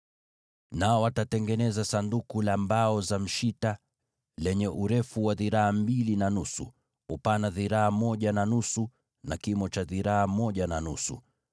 “Nao watatengeneza Sanduku la mbao za mshita, lenye urefu wa dhiraa mbili na nusu, upana wa dhiraa moja na nusu, na kimo cha dhiraa moja na nusu.